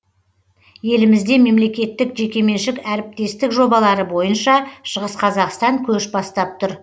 елімізде мемлекеттік жекеменшік әріптестік жобалары бойынша шығыс қазақстан көш бастап тұр